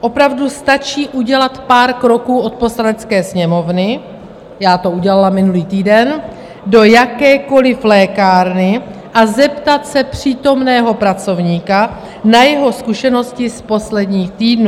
Opravdu stačí udělat pár kroků od Poslanecké sněmovny - já to udělala minulý týden - do jakékoli lékárny a zeptat se přítomného pracovníka na jeho zkušenosti z posledních týdnů.